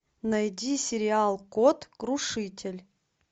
найди сериал код крушитель